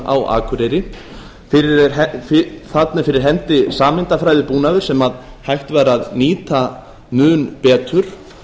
á akureyri þarna er fyrir hendi sameindafræðibúnaður sem hægt væri að nýta mun betur